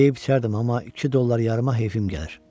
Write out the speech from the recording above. Yeyib-içərdim, amma iki dollar yarıma heyfim gəlir.